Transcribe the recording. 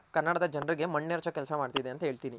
ಕನ್ನಡದ ಜನ್ರಗೆ ಮಣ್ಣೇರ್ಚೋ ಕೆಲ್ಸ ಮಾಡ್ತಿದೆ ಅಂತ ಹೇಳ್ತೀನಿ.